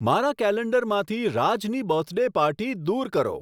મારા કેલેન્ડરમાંથી રાજની બર્થડે પાર્ટી દૂર કરો